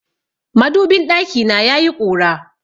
Madubin ɗakina yayi ƙura.